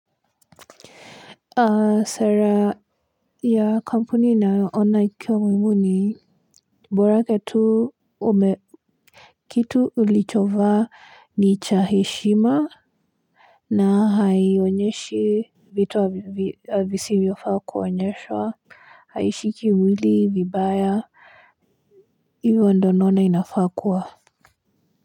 Sara ya kampuni naona ikiwa muhimu ni bora tu ume kitu ulichovaa ni cha heshima na haionyeshe vitu wa visivovifaa kuonyesha haishiki mwili vibaya hivyo ndo naona inafaa kuwa.